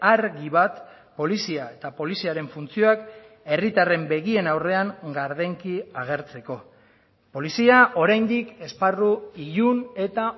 argi bat polizia eta poliziaren funtzioak herritarren begien aurrean gardenki agertzeko polizia oraindik esparru ilun eta